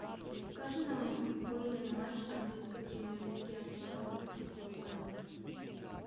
покажи нам футбольный матч английской премьер лиги арсенала с кристал пэлас